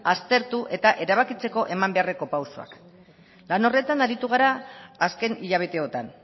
aztertu eta erabakitzeko eman beharreko pausuak lan horretan aritu gara azken hilabeteotan